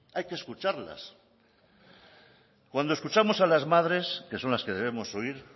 hay que escucharlas cuando escuchamos a las madres que son las que debemos oír